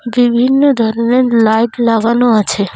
বিভিন্ন ধরনের লাইট লাগানো আছে।